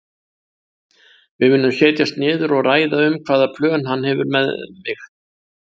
Við munum setjast niður og ræða um hvaða plön hann hefur með mig.